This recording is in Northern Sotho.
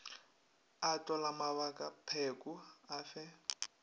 a tlola mabakapheko a fe